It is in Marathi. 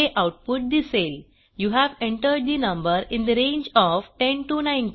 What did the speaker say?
हे आऊटपुट दिसेल you have entered the number in the range of 10 19